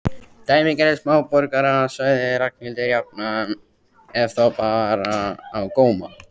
Dæmigerðir smáborgarar sagði Ragnhildur jafnan ef þá bar á góma.